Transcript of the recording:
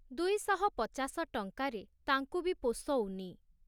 ଦୁଇଶହ ପଚାଶ ଟଙ୍କାରେ ତାଙ୍କୁ ବି ପୋଷଉନି ।